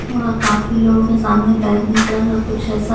और काफी लोगों के सामने बैगनी कलर का कुछ ऐसा --